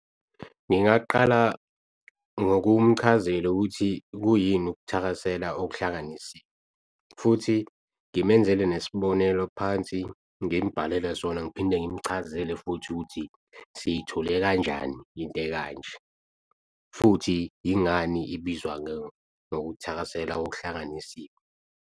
Ngingaqala ngokumchazela ukuthi kuyini ukuthakasela okuhlanganisiwe, futhi ngimenzele nesibonelo phansi ngimbhalele sona ngiphinde ngimuchazele futhi ukuthi siyithole kanjani into ekanje futhi yingani ibizwa ngokuthakasela okuhlanganisiwe.